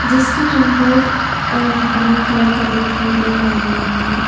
जिसका रंग व्हाइट और ब्राउन कलर का दिखाई दे रहा है।